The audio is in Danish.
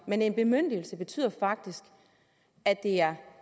men en bemyndigelse betyder faktisk at det er